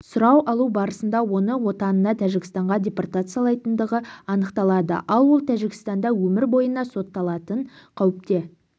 сұрау алу барысында оны отанына тәжікстанға депортациялайтындығы анықталады ал ол тәжікстанда өмір бойына сотталатын қауіпте